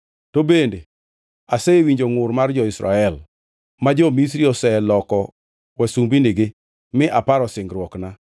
To bende asewinjo ngʼur, mar jo-Israel ma jo-Misri oseloko wasumbinigi mi aparo singruokna.